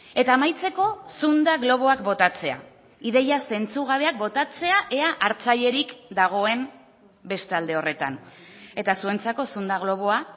eta amaitzeko zunda globoak botatzea ideia zentzugabeak botatzea ea hartzailerik dagoen bestalde horretan eta zuentzako zunda globoa